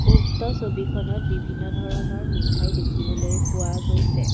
উক্ত ছবিখনত বিভিন্ন ধৰণৰ মিঠাই দেখিবলৈ পোৱা গৈছে।